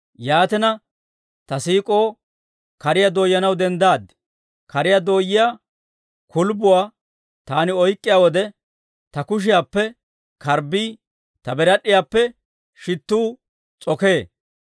Yaatina, ta siik'oo kariyaa dooyanaw denddaad. Kariyaa dooyiyaa kulbbuwaa taani oyk'k'iyaa wode, ta kushiyaappe karbbii, ta birad'd'iyaappe shittuu s'okee.